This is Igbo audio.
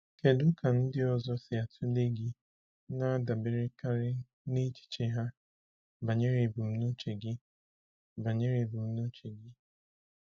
Kedu ka ndị ọzọ si atụle gị na-adaberekarị n’echiche ha banyere ebumnuche gị. banyere ebumnuche gị.